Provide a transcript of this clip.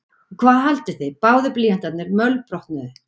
Og hvað haldið þið báðir blýantarnir mölbrotnuðu!